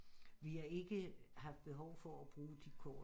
Vi har ikke haft behov for at bruge de kort